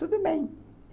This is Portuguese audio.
Tudo bem.